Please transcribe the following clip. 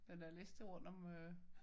Den der liste rundt om øh